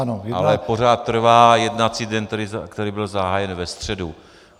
Ale pořád trvá jednací den, který byl zahájen ve středu.